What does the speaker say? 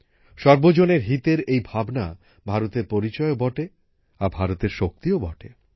সর্বজনের হিতের এই ভাবনা ভারতের পরিচয়ও বটে আর ভারতের শক্তিও বটে